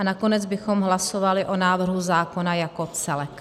A nakonec bychom hlasovali o návrhu zákona jako celku.